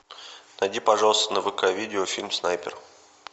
найди пожалуйста на вк видео фильм снайпер